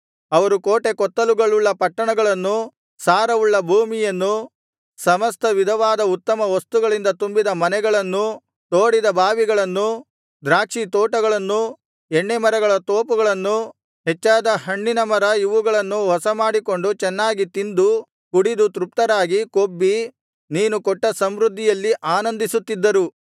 ಅವರು ಕೋಟೆಕೊತ್ತಲುಗಳುಳ್ಳ ಪಟ್ಟಣಗಳನ್ನೂ ಸಾರವುಳ್ಳ ಭೂಮಿಯನ್ನೂ ಸಮಸ್ತ ವಿಧವಾದ ಉತ್ತಮ ವಸ್ತುಗಳಿಂದ ತುಂಬಿದ ಮನೆಗಳನ್ನೂ ತೋಡಿದ ಬಾವಿಗಳನ್ನೂ ದ್ರಾಕ್ಷಿತೋಟಗಳನ್ನೂ ಎಣ್ಣೇಮರಗಳ ತೋಪುಗಳನ್ನೂ ಹೆಚ್ಚಾದ ಹಣ್ಣಿನ ಮರ ಇವುಗಳನ್ನೂ ವಶಮಾಡಿಕೊಂಡು ಚೆನ್ನಾಗಿ ತಿಂದು ಕುಡಿದು ತೃಪ್ತರಾಗಿ ಕೊಬ್ಬಿ ನೀನು ಕೊಟ್ಟ ಸಮೃದ್ಧಿಯಲ್ಲಿ ಆನಂದಿಸುತ್ತಿದ್ದರು